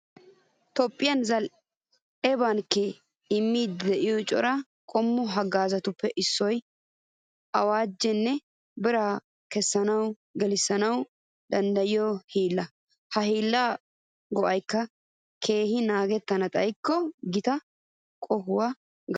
Toophphiya zal"e bankkee immiiddi de'iyo cora qommo haggaazatuppe issoy awaajinne biraa kessanawunne gelissanawu danddayiyo hiillaa. Ha hiillay go"iyogaa keena naagettana xayikko gita qohuwakka gattees.